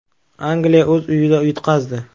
Angliya o‘z uyida yutqazdi.